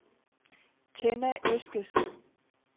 Tenna Eskesen